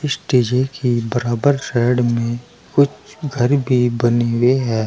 स्टेजे के बराबर साइड में कुछ घर भी बने हुए हैं।